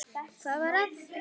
Hvað var að þér?